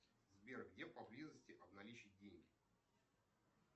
сбер где поблизости обналичить деньги